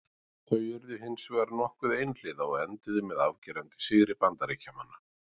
Þau urðu hins vegar nokkuð einhliða og enduðu með afgerandi sigri Bandaríkjamanna.